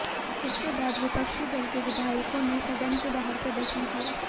इसके बाद विपक्षी दल के विधायकों ने सदन के बाहर प्रदर्शन किया